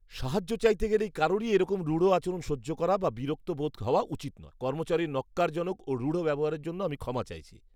সাহায্য চাইতে গেলে কারুরই এরকম রূঢ় আচরণ সহ্য করা বা বিরক্ত বোধ হওয়া উচিত নয়। কর্মচারীর ন্যক্কারজনক ও রূঢ় ব্যবহারের জন্য আমি ক্ষমা চাইছি।